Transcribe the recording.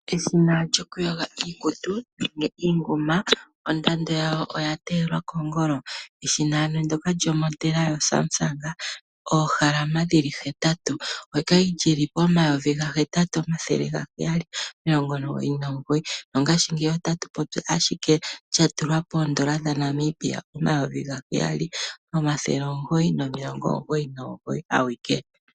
Eshina lyokuyoga iikutu nenge iinguma ondando yalyo oya teyelwa kongolo . Eshina ndoka lyo modela yo Samsung oohalama dhili hetatu okwali lili pomayovi ga hetatu omathele gaheyali omilongo omugoyi nomugoyi mongashingeyi olili ashike lili poondola dha Namibia omayovi gaheyali nomathele omugoyi nomilongo omugoyi nomugoyi awike.